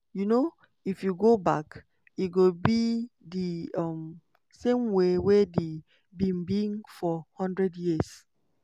um if you go back e go be di um same way wey e bin be for one hundred years."